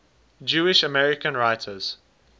jewish american writers